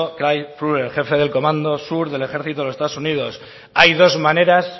craig faller el jefe de comando sur del ejército de los estados unidos hay dos maneras